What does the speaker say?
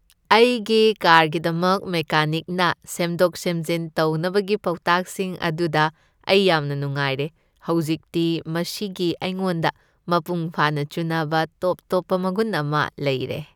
ꯑꯩꯒꯤ ꯀꯥꯔꯒꯤꯗꯃꯛ ꯃꯦꯀꯥꯅꯤꯛꯅ ꯁꯦꯝꯗꯣꯛ ꯁꯦꯝꯖꯤꯟ ꯇꯧꯅꯕꯒꯤ ꯄꯥꯎꯇꯥꯛꯁꯤꯡ ꯑꯗꯨꯗ ꯑꯩ ꯌꯥꯝꯅ ꯅꯨꯡꯉꯥꯏꯔꯦ꯫ ꯍꯧꯖꯤꯛꯇꯤ ꯃꯁꯤꯒꯤ ꯑꯩꯉꯣꯟꯗ ꯃꯄꯨꯡꯐꯥꯅ ꯆꯨꯅꯕ ꯇꯣꯞꯇꯣꯞꯄ ꯃꯒꯨꯟ ꯑꯃ ꯂꯩꯔꯦ꯫